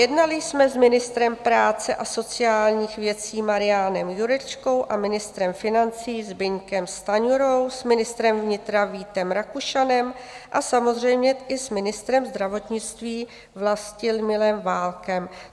Jednali jsme s ministrem práce a sociálních věcí Marianem Jurečkou a ministrem financí Zbyňkem Stanjurou, s ministrem vnitra Vítem Rakušanem a samozřejmě i s ministrem zdravotnictví Vlastimilem Válkem."